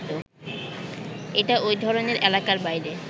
এটা ওই ধরনের এলাকার বাইরে